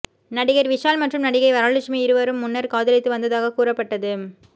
நடிகர் விஷால் மற்றும் நடிகை வரலட்சுமி இருவரும் முன்னர் காதலித்து வந்ததாகக் கூறப்பட்டது